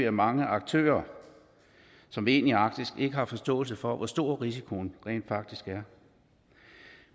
at mange aktører som vil ind i arktis ikke har forståelse for hvor stor risikoen rent faktisk er